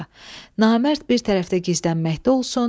Namərd bir tərəfdə gizlənməkdə olsun.